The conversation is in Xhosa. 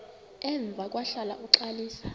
emva kwahlala uxalisa